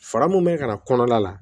Fara mun bɛ ka na kɔnɔna la